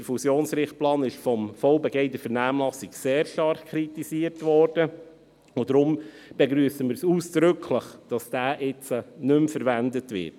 Der Fusionsrichtplan wurde vom VBG in der Vernehmlassung sehr stark kritisiert, und deshalb begrüssen wir es ausdrücklich, dass dieser nun nicht mehr verwendet wird.